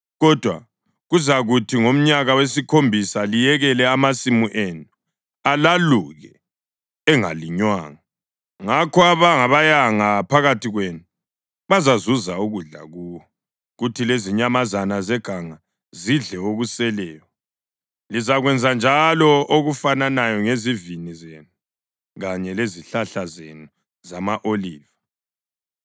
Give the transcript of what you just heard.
kodwa kuzakuthi ngomnyaka wesikhombisa liyekele amasimu enu alaluke engalinywanga. Ngakho abangabayanga phakathi kwenu bazazuza ukudla kuwo, kuthi lezinyamazana zeganga zidle okuseleyo. Lizakwenza njalo okufananayo ngezivini zenu kanye lezihlahla zenu zama-oliva.